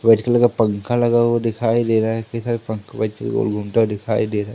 White colour का पंखा लगा हुआ दिखाई दे रहा है कई सारे पंख गोल घूमता दिखाई दे रहा है।